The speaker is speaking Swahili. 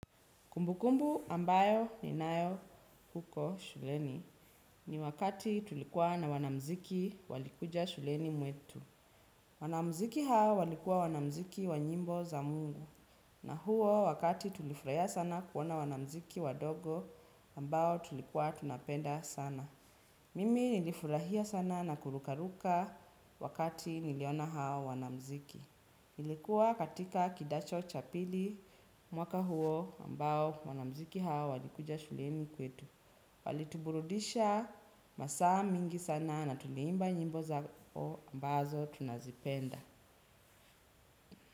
Kumbukumbu ambayo ninayo huko shuleni ni wakati tulikuwa na wanamuziki walikuja shuleni mwetu. Wanamuziki hao walikuwa wanamuziki wa nyimbo za mungu. Na huo wakati tulifurahia sana kuona wanamuziki wadogo ambao tulikuwa tunapenda sana. Mimi nilifurahia sana na kurukaruka wakati niliona hao wanamuziki. Nilikuwa katika kidato chapili mwaka huo ambao wanamuziki hawa walikuja shuleni kwetu. Walituburudisha masaa mingi sana na tuliimba nyimbo zao ambazo tunazipenda.